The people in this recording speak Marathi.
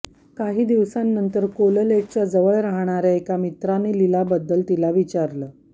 काही दिवसांनंतर कोललेटच्या जवळ राहणाऱ्या एका मित्राने लीलाबद्दल तिला विचारलं